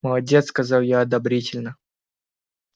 молодец сказал я одобрительно